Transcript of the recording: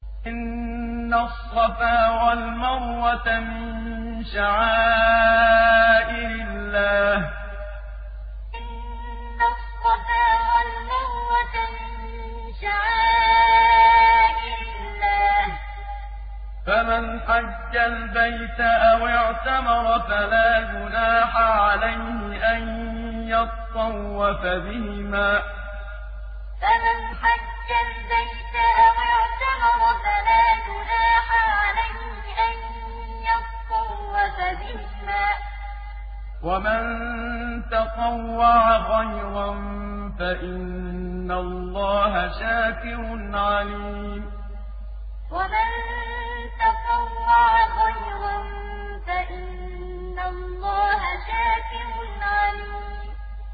۞ إِنَّ الصَّفَا وَالْمَرْوَةَ مِن شَعَائِرِ اللَّهِ ۖ فَمَنْ حَجَّ الْبَيْتَ أَوِ اعْتَمَرَ فَلَا جُنَاحَ عَلَيْهِ أَن يَطَّوَّفَ بِهِمَا ۚ وَمَن تَطَوَّعَ خَيْرًا فَإِنَّ اللَّهَ شَاكِرٌ عَلِيمٌ ۞ إِنَّ الصَّفَا وَالْمَرْوَةَ مِن شَعَائِرِ اللَّهِ ۖ فَمَنْ حَجَّ الْبَيْتَ أَوِ اعْتَمَرَ فَلَا جُنَاحَ عَلَيْهِ أَن يَطَّوَّفَ بِهِمَا ۚ وَمَن تَطَوَّعَ خَيْرًا فَإِنَّ اللَّهَ شَاكِرٌ عَلِيمٌ